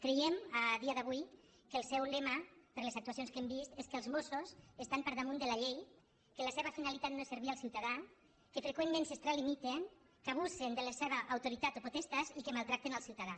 creiem a dia d’avui que el seu lema per les actuacions que hem vist és que els mossos estan per damunt de la llei que la seva finalitat no és servir al ciutadà que fre·qüentment s’extralimiten que abusen de la seva autoritat o potestat i que maltracten el ciutadà